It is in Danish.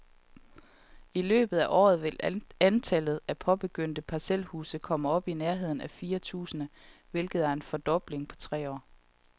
I løbet af året vil antallet af påbegyndte parcelhuse komme op i nærheden af fire tusind, hvilket er en fordobling på tre år.